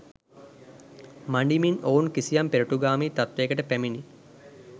මඬිමින් ඔවුන් කිසියම් පෙරටුගාමී තත්ත්වයකට පැමිණී